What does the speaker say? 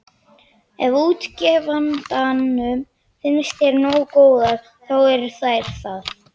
Ef útgefandanum finnst þær nógu góðar, þá eru þær það.